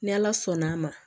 Ni ala sɔnn'a ma